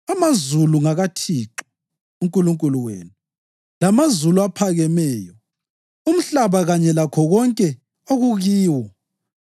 Amazulu ngakaThixo uNkulunkulu wenu, lamazulu aphakameyo, umhlaba kanye lakho konke okukiwo.